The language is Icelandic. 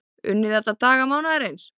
Unnið alla daga mánaðarins